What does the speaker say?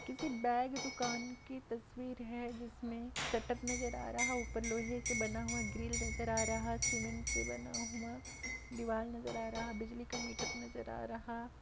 किसी बेग दुकान की तस्वीर है जिसमे शटर नजर आ रहा ऊपर लोहे से बना हुआ ग्रिल नजर आ रहा सिमेंट से बना हुआ दीवाल नजर आ रहा बिजली का मीटर नजर आ रहा।